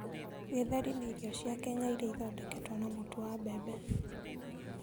Githeri, nĩ irio cia Kenya iria ithondeketwo na mũtu wa mbembe.